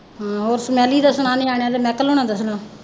ਹਮ ਹੋਰ ਰਵੀ ਦਾ ਸੁਣਾ ਨਿਆਣਿਆਂ ਦਾ ਮਾਇਕਲ ਹੁਣਾਂ ਦਾ ਸੁਣਾ।